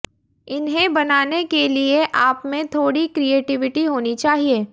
इन्हें बनाने के लिए आपमें थोड़ी क्रिएटिविटी होनी चाहिए